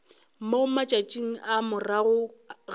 mo matšatšing a morago ga